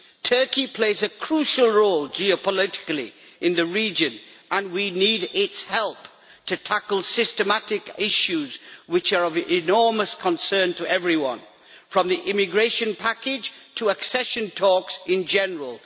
Turkey plays a crucial role geopolitically in the region and we need its help to tackle systematic issues which are of enormous concern to everyone, from the immigration package to accession talks in general.